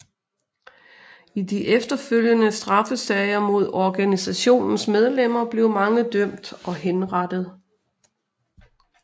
I de efterfølgende straffesager mod organisationens medlemmer blev mange dømt og henrettet